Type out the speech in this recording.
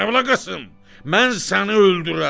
Kərbəlayı Qasım, mən səni öldürərəm!